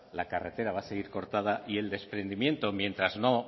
la carretera va a seguir cortada y el desprendimiento mientras no